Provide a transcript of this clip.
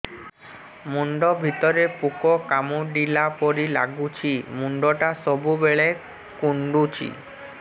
ମୁଣ୍ଡ ଭିତରେ ପୁକ କାମୁଡ଼ିଲା ପରି ଲାଗୁଛି ମୁଣ୍ଡ ଟା ସବୁବେଳେ କୁଣ୍ଡୁଚି